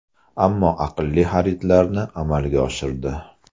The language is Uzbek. Ammo aqlli xaridlarni amalga oshirdi.